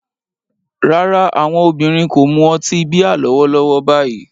Rárá, àwọn obìnrin kò mu ọtí bíà lọ́wọ́lọ́wọ́ báyìí